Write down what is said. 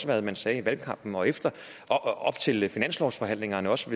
hvad man sagde i valgkampen og efter op til finanslovsforhandlingerne og også